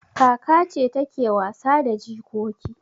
Kaka ce take wasa da jikoki.